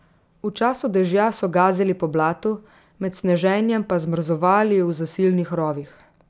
V času dežja so gazili po blatu, med sneženjem pa zmrzovali v zasilnih rovih.